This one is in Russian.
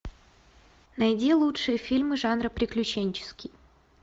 найди лучшие фильмы жанра приключенческий